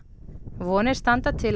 vonir standa til að